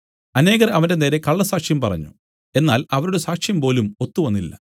അനേകർ അവന്റെനേരെ കള്ളസാക്ഷ്യം പറഞ്ഞു എന്നാൽ അവരുടെ സാക്ഷ്യംപോലും ഒത്തുവന്നില്ല